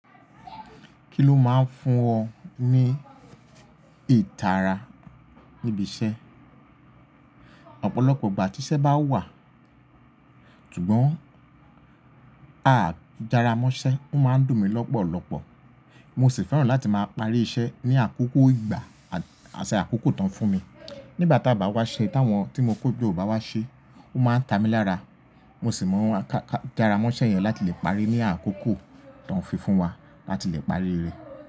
Kí ló máa ń fún ọ ní ìtara níbi iṣẹ́? Ọ̀pọ̀lọpọ̀ ìgbà tí iṣẹ́ bá wà, ṣùgbọ́n a dára mọ́ṣẹ́, ó máa ń dùn mí lọ́pọ̀lọpọ̀. Mo sì fẹ́ràn láti máa parí iṣẹ́ ní àkókò ìgbà àsẹ àkókò tán fún mi. Nígbà tí a bá wá ṣe, tí àwọn tí mo kọ́ gbó bá wá ṣe, ó máa ń ta mi lára. Mo sì mọ kára mọ́ṣẹ́ yẹn láti lè parí ní àkókò tó ń fi fún wa láti lè parí rẹ̀.